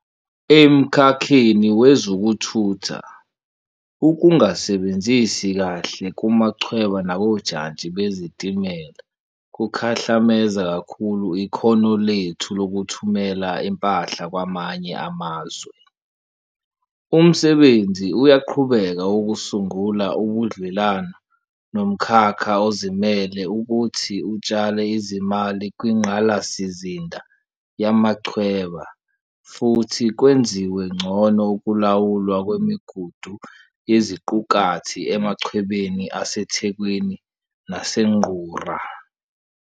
Emkhakheni wezokuthutha, ukungasebenzi kahle kumachweba nakojantshi bezitimela kukhahlameze kakhulu ikhono lethu lokuthumela impahla kwamanye amazwe. Umsebenzi uyaqhubeka wokusungula ubudlelwano nomkhakha ozimele ukuthi utshale izimali kwingqalasizinda yamachweba futhi kwenziwe ngcono ukulawulwa kwemigudu yeziqukathi emachwebeni aseThekwini naseNgqura.